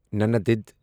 ننَدِد